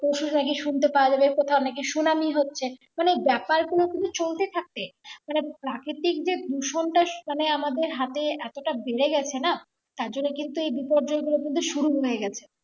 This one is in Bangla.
পরশুর আগে সুনতে পাওয়া যাবে কোথাও নাকি সুনামি হচ্ছে মানে ব্যাপারগুলো কিন্তু চলতে থাকে মানে প্রাকৃতিক যে দূষণটা মানে আমাদের হাতে এতটা বেড়ে গেছে না তারজন্য কিন্তু এই বিপর্জয়গুলো কিন্তু শুরু হয়ে গেছে